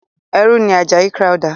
ẹrú ni Àjàyí Crowther.